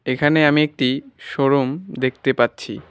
এখানে আমি একটি শোরুম দেখতে পাচ্ছি।